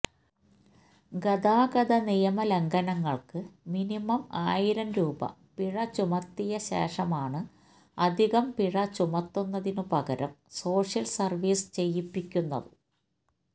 ഗതാഗതനിയമ ലംഘനങ്ങൾക്ക് മിനിമം ആയിരം രൂപ പിഴ ചുമത്തിയശേഷമാണ് അധികം പിഴ ചുമത്തുന്നതിനു പകരം സോഷ്യൽ സർവീസ് ചെയ്യിപ്പിക്കുന്നത്